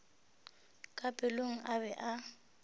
ka pelong a be a